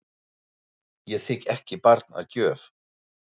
Ég þigg ekki barn að gjöf.